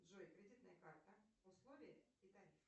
джой кредитная карта условия и тариф